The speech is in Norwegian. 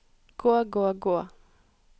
gå gå gå